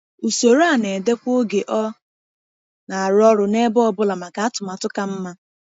Usoro a na-edekwa oge ọ na-arụ ọrụ n’ebe ọ bụla maka atụmatụ ka mma.